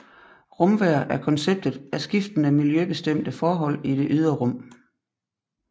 Rumvejr er konceptet af skiftende miljøbestemte forhold i det ydre rum